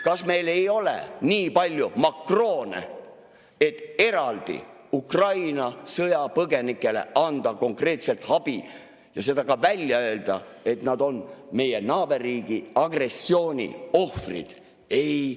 Kas meil ei ole nii palju makroone, et eraldi Ukraina sõjapõgenikele anda konkreetset abi ja seda ka välja öelda, et nad on meie naaberriigi agressiooni ohvrid?